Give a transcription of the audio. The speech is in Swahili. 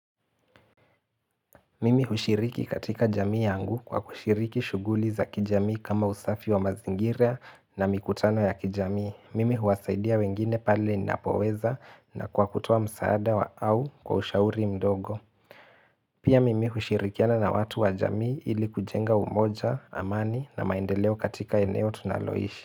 Mimi hushiriki katika jamii yangu kwa kushiriki shughuli za kijamii kama usafi wa mazingira na mikutano ya kijamii. Mimi huwasaidia wengine pale ninapoweza na kwa kutoa msaada wa au kwa ushauri mdogo. Pia mimi hushirikiana na watu wa jamii ili kujenga umoja, amani na maendeleo katika eneo tunaloishi.